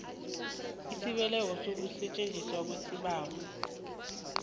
esibekelwe ukusetjenzwa kwesibawo